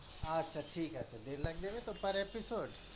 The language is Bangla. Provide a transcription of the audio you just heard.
আচ্ছা আচ্ছা দেড় লাখ দেবে তো per episod?